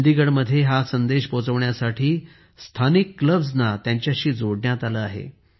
चंदीगडमध्ये हा संदेश पोचवण्यासाठी स्थानिक क्लब्सना मंडळांना त्याच्याशी जोडण्यात आले आहे